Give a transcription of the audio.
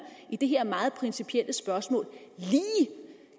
i det her meget principielle spørgsmål lige